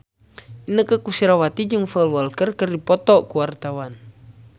Inneke Koesherawati jeung Paul Walker keur dipoto ku wartawan